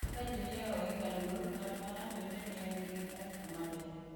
Ka ji miyo ohinga luor, ng’ato ka ng’ato winjo ni en gi arita maber